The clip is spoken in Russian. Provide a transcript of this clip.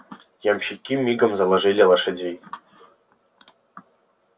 ямщики мигом заложили лошадей